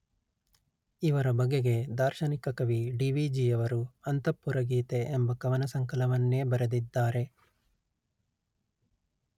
ಇವರ ಬಗೆಗೆ ದಾರ್ಶನಿಕ ಕವಿ ಡಿ_letter-en ವಿ_letter-en ಜಿ_letter-en ಯವರು ಅಂತಃಪುರಗೀತೆ ಎಂಬ ಕವನ ಸಂಕಲನವನ್ನೇ ಬರೆದಿದ್ದಾರೆ